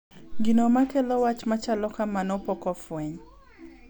Gino ma kelo wach machalo kamano pok ofweny.